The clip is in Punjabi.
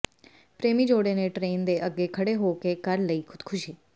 ਪ੍ਰੇਮੀ ਜੋਡ਼ੇ ਨੇ ਟ੍ਰੇਨ ਦੇ ਅੱਗੇ ਖਡ਼੍ਹੇ ਹੋ ਕੇ ਕਰ ਲਈ ਖੁਦਕੁਸ਼ੀ